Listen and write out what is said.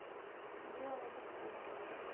биомедицина